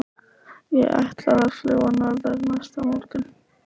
Ég ætlaði að fljúga norður næsta morgun.